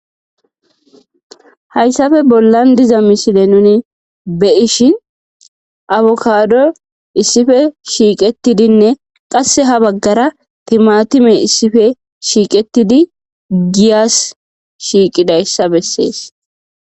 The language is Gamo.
Hayssape bollan diza mishile nuni be ishi awokado issipe shiiqetidinne qasse ha baggara timatime issife shiiqetidi giyas shiiqidayssa bessees.